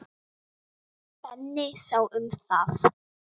Benni sá um það.